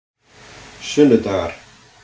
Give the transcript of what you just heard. sunnudagar